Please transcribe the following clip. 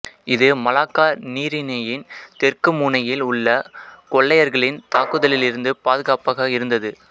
இது மலாக்கா நீரிணையின் தெற்கு முனையில் உள்ள கொள்ளையர்களின் தாக்குதலிருந்து பாதுகாப்பாக இருந்தது